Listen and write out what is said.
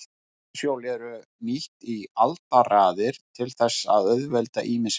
Vatnshjól voru nýtt í aldaraðir til þess að auðvelda ýmis verk.